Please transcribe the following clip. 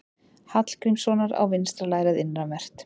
Hallgrímssonar á vinstra lærið innanvert.